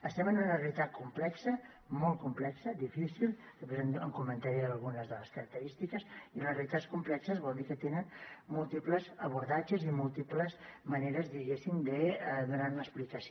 estem en una realitat complexa molt complexa difícil després en comentaré algunes de les característiques i les realitats complexes vol dir que tenen múltiples abordatges i múltiples maneres diguéssim de donar ne explicació